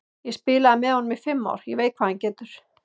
Ég spilaði með honum í fimm ár, ég veit hvað hann getur.